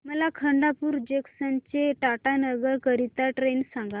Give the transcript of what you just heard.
मला खडगपुर जंक्शन ते टाटानगर करीता ट्रेन सांगा